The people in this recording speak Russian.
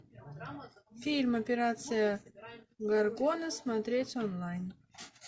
фильм операция горгона смотреть онлайн